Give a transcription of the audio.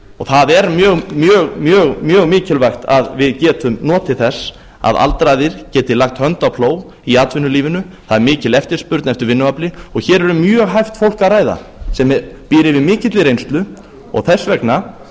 það er mjög mikilvægt að við getum notið þess að aldraðir geti lagt hönd á plóg í atvinnulífinu það er mikil eftirspurn eftir vinnuafli og hér er um mjög hæft fólk að ræða sem býr yfir mikilli reynslu og